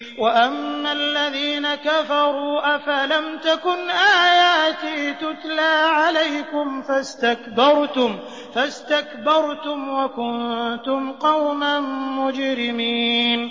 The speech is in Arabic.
وَأَمَّا الَّذِينَ كَفَرُوا أَفَلَمْ تَكُنْ آيَاتِي تُتْلَىٰ عَلَيْكُمْ فَاسْتَكْبَرْتُمْ وَكُنتُمْ قَوْمًا مُّجْرِمِينَ